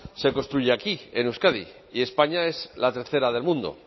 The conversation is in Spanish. se construye aquí en euskadi y españa es la tercera del mundo